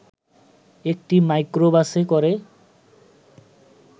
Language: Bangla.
একটি মাইক্রোবাসে করে